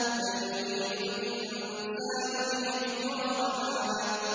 بَلْ يُرِيدُ الْإِنسَانُ لِيَفْجُرَ أَمَامَهُ